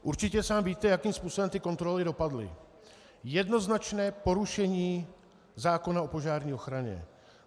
Určitě sám víte, jakým způsobem ty kontroly dopadly - jednoznačné porušení zákona o požární ochraně.